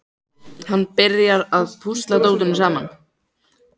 Hann byrjar að púsla dótinu saman.